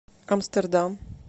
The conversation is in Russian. амстердам